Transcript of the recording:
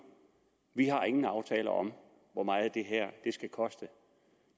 vi har ingen aftaler om hvor meget det her skal koste